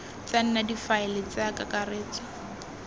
tsa nna difaele tsa kakaretso